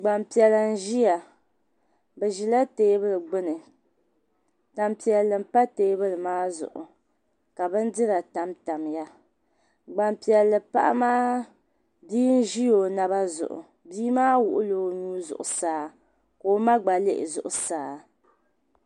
Gban piɛla nziya bizila teebuli gbuni . tampɛli n pa teebulimaa zuɣu ka bindira tam tamya gbanpɛli paɣimaa , bii nzi o naba zuɣu bii maa wuɣila onuu zuɣu saa. ka oma gba lihizuɣu saa